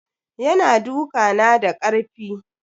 Ya na duka na da karfi.